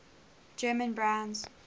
german brands